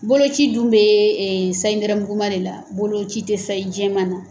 Boloci dun bee sayi nɛrɛmuguma de la, boloci te sayi jɛman na.